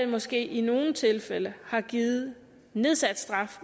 måske i nogle tilfælde har givet nedsat straf